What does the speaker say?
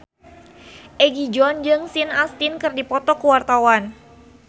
Egi John jeung Sean Astin keur dipoto ku wartawan